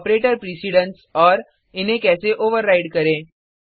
operator precedence और इन्हे कैसे ओवरराइड करें